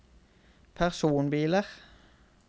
personbiler